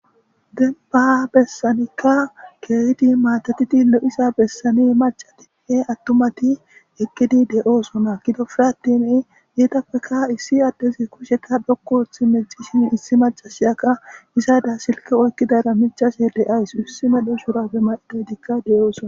Demba besanika keehid matatid lo'iza besan macatinne atumati eqid de'osona , gidoppe attin etappeka issi adezi kusheka dhoqu oothi micishe issi macashiyaka izada silke oykidara micashe de'awus, iss medho shurabe may'idaytika de'osona.